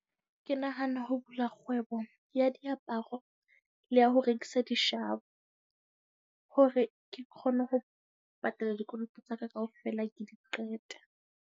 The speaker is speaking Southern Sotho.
Ke nahana ho bula kgwebo ya diaparo le ya ho rekisa dishabo, hore ke kgone ho patala dikoloto tsa ka kaofela, ke di qete.